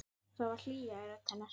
Það var hlýja í rödd hennar.